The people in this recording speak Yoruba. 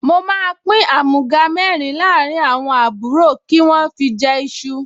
Mo máa àmúga mẹ́rin láàrín àwọn àbúrò kí wọ́n fi jẹ iṣu